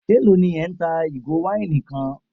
Élò ní ẹ́ ń ta ìgò wáìnì kan?